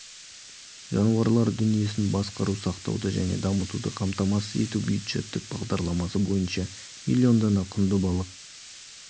жануарлар дүниесін басқару сақтауды және дамытуды қамтамасыз ету бюджеттік бағдарламасы бойынша млн дана құнды балық